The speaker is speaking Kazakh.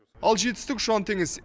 ал жетістік ұшан теңіз